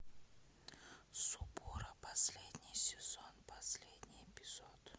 субора последний сезон последний эпизод